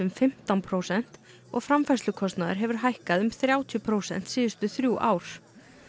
fimmtán prósent og framfærslukostnaður hefur hækkað um þrjátíu prósent síðustu þrjú ár